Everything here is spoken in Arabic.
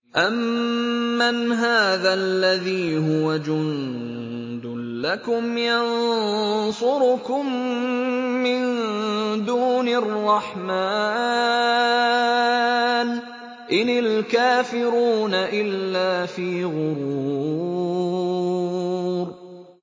أَمَّنْ هَٰذَا الَّذِي هُوَ جُندٌ لَّكُمْ يَنصُرُكُم مِّن دُونِ الرَّحْمَٰنِ ۚ إِنِ الْكَافِرُونَ إِلَّا فِي غُرُورٍ